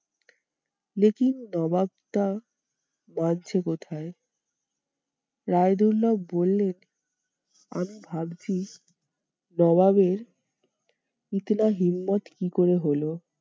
নবাব তা পারছে কোথায়? রায়দুল্লা বললেন আমি ভাবছি নবাবের কি করে হলো?